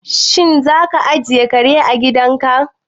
Shin za ka ajiye kare a gidan ka?